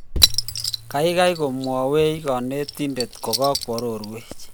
geigei komwawech konetindet kogagorwoch